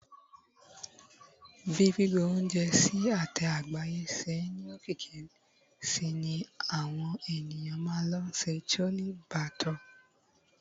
bi gbigbe ounjẹ sí ate àgbáyé se ni okiki sí ni àwọn ènìyàn ma le sẹ chole bhature